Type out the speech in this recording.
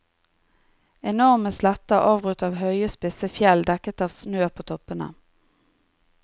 Enorme sletter avbrutt av høye, spisse fjell dekket av snø på toppene.